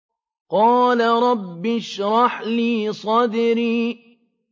قَالَ رَبِّ اشْرَحْ لِي صَدْرِي